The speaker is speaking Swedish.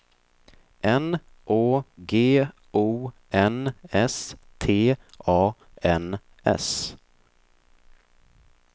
N Å G O N S T A N S